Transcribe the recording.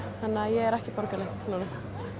þannig að ég er ekki að borga neitt núna